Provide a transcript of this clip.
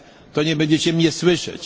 to nie będziecie mnie słyszeć.